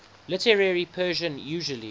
literary persian usually